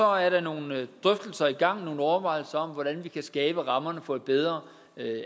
er der nogle drøftelser i gang nogle overvejelser om hvordan vi kan skabe rammerne for et bedre